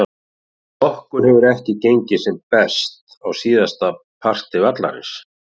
Okkur hefur ekki gengið sem best á síðasta parti vallarins.